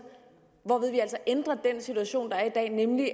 hvorved vi altså ændrer den situation der er i dag nemlig